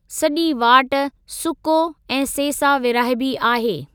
सॼी वाट सुको ऐं सेसा विरहाइबी आहे।